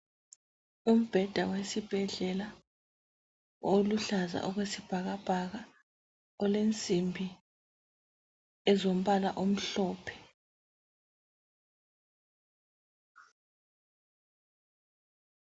Umbheda wesibhedlela oluhlaza okwesibhakabhaka olensimbi ezombala omhlophe.